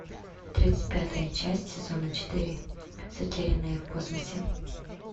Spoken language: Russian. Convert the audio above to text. тридцать пятая часть сезона четыре затерянные в космосе